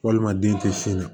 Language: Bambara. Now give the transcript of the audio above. Walima den tɛ sin na